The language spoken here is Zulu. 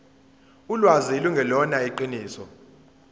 ulwazi lungelona iqiniso